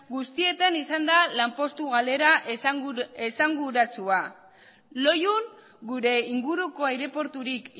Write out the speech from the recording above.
guztietan izan da lanpostu galera esanguratsua loiun gure inguruko aireporturik